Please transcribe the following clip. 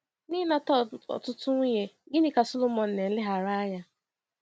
Na ịnata ọtụtụ nwunye, gịnị ka Sọlọmọn na-eleghara anya?